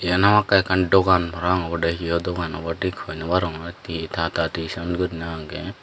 yan hamakkai ekkan dogan parapang obodey hiyo dogan obow thik hoi no barongor ti tata tison guriney agey.